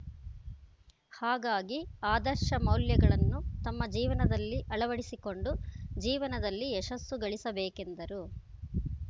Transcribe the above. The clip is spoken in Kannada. ಹಾಗಾಗಿ ಆದರ್ಶ ಮೌಲ್ಯಗಳನ್ನು ತಮ್ಮ ಜೀವನದಲ್ಲಿ ಅಳವಡಿಸಿಕೊಂಡು ಜೀವನದಲ್ಲಿ ಯಶಸ್ಸು ಗಳಿಸಬೇಕೆಂದರು